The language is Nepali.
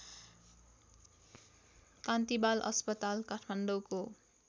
कान्ति बाल अस्पताल काठमाडौँको